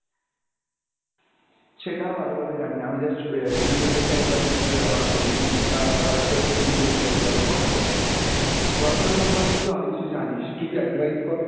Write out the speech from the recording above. সেইটাও ভালোভাবে জানিনা আমি just Youtube আহ দেখে একবার just আমার ছবি আহ Whatsapp এর DP change করেছিলাম। Whatsapp, Whatsapp এর সম্পর্কে তুইতো অনেক কিছু জানিস, কিছু advice কর।